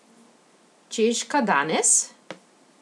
Češka danes?